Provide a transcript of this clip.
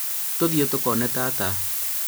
tũthiĩ tũkone tata